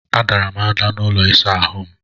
A dara m ada n'ụlọ ịsa ahụ m.